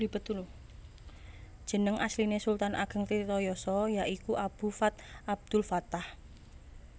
Jeneng asline Sultan Ageng Tirtayasa ya iku Abu Fath Abdulfattah